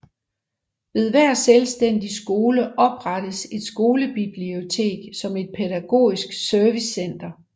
Ved hver selvstændig skole oprettes et skolebibliotek som et pædagogisk servicecenter